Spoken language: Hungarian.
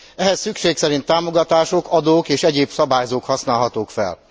Ehhez szükség szerint támogatások, adók és egyéb szabályzók használhatók fel.